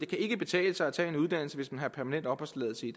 kan betale sig at tage en uddannelse hvis man har permanent opholdstilladelse i